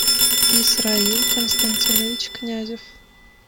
исраил константинович князев